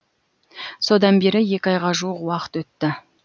содан бері екі айға жуық уақыт өтті